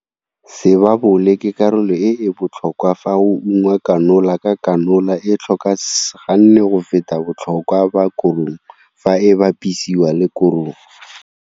Sebabole ke karolo e e botlhokwa fa go ungwa kanola ka kanola e tlhoka S ganne go feta botlhokwa ba korong fa e bapisiwa le korong.